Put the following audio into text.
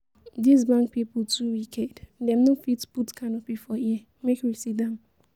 This bank people too wicked, dem no fit put canopy for here make we sit down